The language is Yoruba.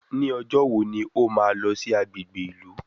Ní ọjọ́ wo ni ó máa lọ sí agbègbè ìlú